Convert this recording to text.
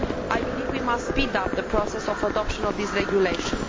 I believe we must speed up the process of adoption of this regulation.